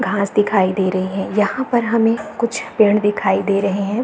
घास दिखाई दे रही है यहाँ पर हमे कुछ पेड़ दिखाई दे रहे है।